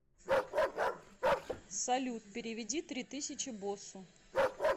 салют переведи три тысячи боссу